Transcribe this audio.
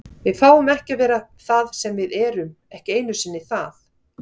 Við fáum ekki að vera það sem við erum, ekki einu sinni það.